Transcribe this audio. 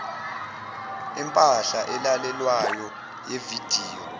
empahla elalelwayo yevidiyo